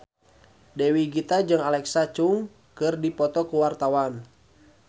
Dewi Gita jeung Alexa Chung keur dipoto ku wartawan